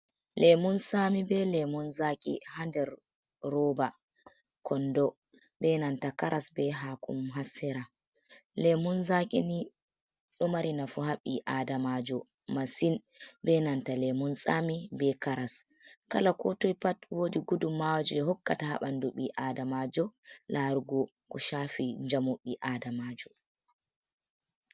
Lemun sami be lemun zaki ha ɗer roba konɗo be nanta karas be hakomom ha sera. Lemun zakini ɗo mari nafu ha bi aɗamajo masin. Be nanta lemun sami be karas. Kala ko toi pat woɗi guɗu mawaji ɗe hokkata ha banɗu bi aɗamajo larugo ko shafi jamu bi aɗamajo.